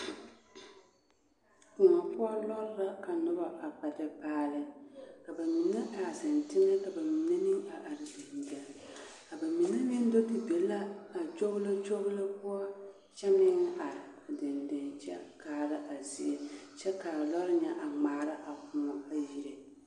Koɔ poɔ lɔɔre la ka nobɔ a kpɛ te paali ka mine a zeŋ teŋɛ ka ba mine meŋ a are deŋdeŋ a ba mine meŋ do te be la a kyoglokyoglo poɔ kyɛ meŋ are deŋdeŋ kyɛ kaara a zie kyɛ kaa lɔɔre ŋa a ŋmaara a koɔ a yire.